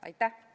Aitäh!